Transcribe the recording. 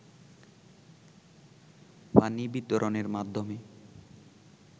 পানি বিতরণের মাধ্যমে